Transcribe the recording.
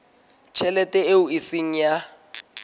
tjhelete eo e seng ya